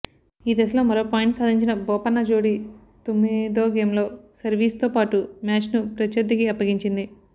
ఈ దశలో మరో పాయింట్ సా ధించిన బోపన్న జోడీ తొమ్మిదోగేమ్లో సర్వీస్తో పాటు మ్యాచ్ను ప్రత్యర్థికి అప్పగించింది